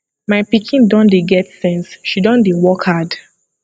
my pikin don dey get sense she don dey work hard